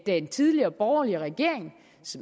den tidligere borgerlige regerings